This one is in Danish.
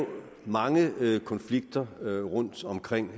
mange konflikter rundtomkring